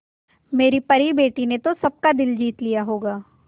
मेरी परी बेटी ने तो सबका दिल जीत लिया होगा